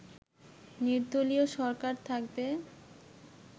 নির্দলীয় সরকার থাকবে